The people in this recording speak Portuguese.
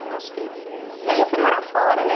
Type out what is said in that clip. Eu acho que esse... E aí eu fui morar fora, né?